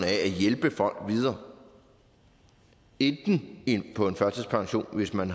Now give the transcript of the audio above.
hjælpe folk videre enten ind på en førtidspension hvis man